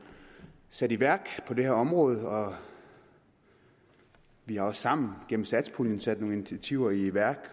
sat i værk på det her område og vi har også sammen gennem satspuljen sat nogle initiativer i værk